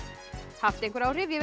haft einhver áhrif ég